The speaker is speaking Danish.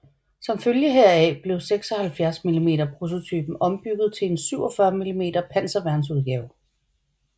Som følge heraf blev 76 mm prototypen ombygget til en 47 mm panserværns udgave